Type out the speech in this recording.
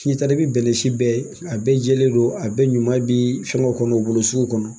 Ni taala i bɛ bɛnɛ si bɛɛ ye, a bɛɛ jɛele don, a bɛ ɲuman bi fɛn kɛ kɔnɔ u bolo sugu kɔnɔ.